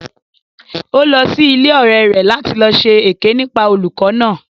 Ó lọ sí ilé ọ̀rẹ rẹ̀ láti lọ ṣe èké nípa olùkó náà